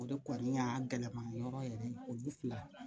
O de kɔni y'a gɛlɛman yɔrɔ yɛrɛ ye olu fila